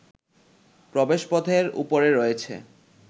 প্রবেশপথের উপরে রয়েছে